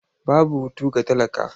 Babu hutu ga talaka.